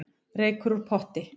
Reykur úr potti